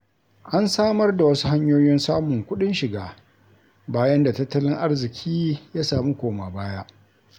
An samar da wasu hanyoyin samun kuɗin shiga, bayan da tattalin arziki ya sami koma-baya.